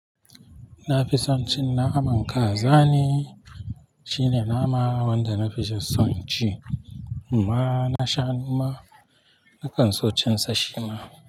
Na fi son cin naman kaza ne, shine nama wanda nafi son ci. Ma na shanu ma, nakan so cin sa shima.